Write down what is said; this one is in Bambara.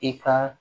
I ka